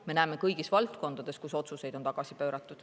Me näeme seda kõigis valdkondades, kus otsuseid on tagasi pööratud.